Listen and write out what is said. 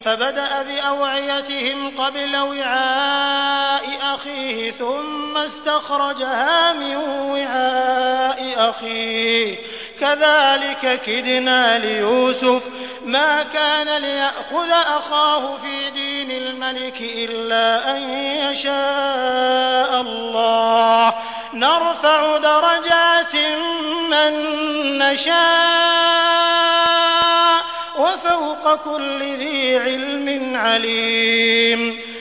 فَبَدَأَ بِأَوْعِيَتِهِمْ قَبْلَ وِعَاءِ أَخِيهِ ثُمَّ اسْتَخْرَجَهَا مِن وِعَاءِ أَخِيهِ ۚ كَذَٰلِكَ كِدْنَا لِيُوسُفَ ۖ مَا كَانَ لِيَأْخُذَ أَخَاهُ فِي دِينِ الْمَلِكِ إِلَّا أَن يَشَاءَ اللَّهُ ۚ نَرْفَعُ دَرَجَاتٍ مَّن نَّشَاءُ ۗ وَفَوْقَ كُلِّ ذِي عِلْمٍ عَلِيمٌ